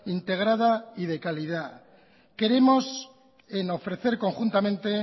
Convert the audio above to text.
integrada y de calidad queremos en ofrecer conjuntamente